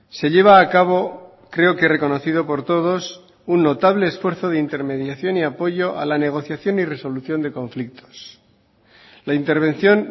se lleva a cabo creo que reconocido por todos un notable esfuerzo de intermediación y apoyo a la negociación y resolución de conflictos la intervención